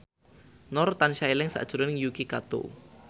Nur tansah eling sakjroning Yuki Kato